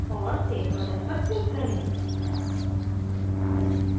और save button पर click करें